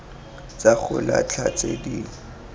tsa go latlha tse di